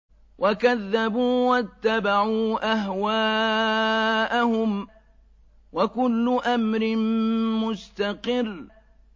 وَكَذَّبُوا وَاتَّبَعُوا أَهْوَاءَهُمْ ۚ وَكُلُّ أَمْرٍ مُّسْتَقِرٌّ